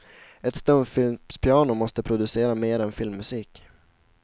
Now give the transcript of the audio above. Ett stumfilmspiano måste producera mer än filmmusik.